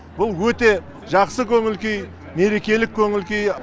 бұл өте жақсы көңіл күй мерекелік көңіл күй